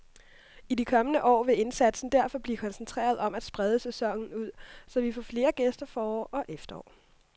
I de kommende år vil indsatsen derfor blive koncentreret om at sprede sæsonen ud, så vi får flere gæster forår og efterår.